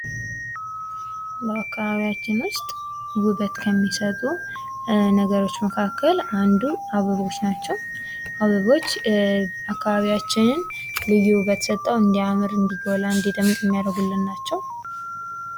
በአካባቢያችን ውስጥ ውበት ከሚሰጡ ነገሮች መካከል አንዱ አበቦች ናቸው። አበቦች አካባቢያችንን ልዩ ውበት ሰጠው እንዲያምር እንዲጎላ እንዲደምቅ የሚያደርጉልን ናቸው።